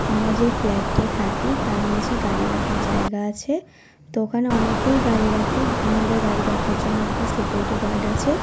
আমরা যে ফ্লাট -এ থাকি তার নীচে গাড়ি রাখার জায়গা আছে তো ওখানে অনেকেই গাড়ি রাখে আমাদের গাড়ি দেখার জন্য একটা সিকিউরিটি গার্ড আছে ।